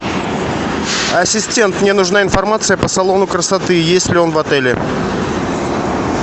ассистент мне нужна информация по салону красоты есть ли он в отеле